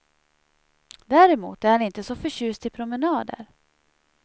Däremot är han inte så förtjust i promenader.